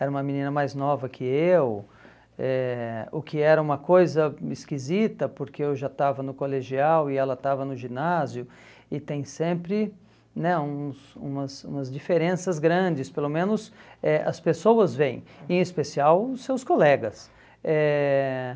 era uma menina mais nova que eu, eh o que era uma coisa esquisita, porque eu já estava no colegial e ela estava no ginásio, e tem sempre né uns umas umas diferenças grandes, pelo menos eh as pessoas veem, em especial os seus colegas. Eh